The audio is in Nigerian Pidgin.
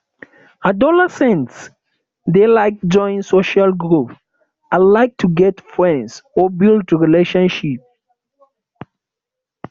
adolescents de like join social group and like to get friends or build relationship